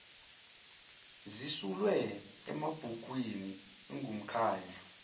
zisulwe emabhukwin ingumkhandlu